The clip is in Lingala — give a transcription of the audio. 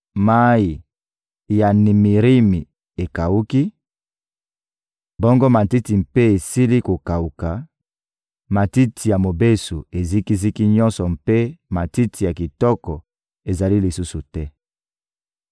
Mayi ya Nimirimi ekawuki, bongo matiti mpe esili kokawuka, matiti ya mobesu eziki-ziki nyonso mpe matiti ya kitoko ezali lisusu te.